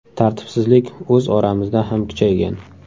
Tartibsizlik o‘z oramizda ham kuchaygan.